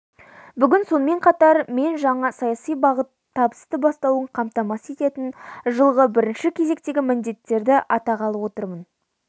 бүгін сонымен қатар мен жаңа саяси бағыттың табысты басталуын қамтамасыз ететін жылғы бірінші кезектегі міндеттерді атағалы отырмын